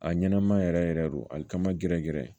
A ɲɛnama yɛrɛ yɛrɛ don alikama gɛrɛ gɛrɛ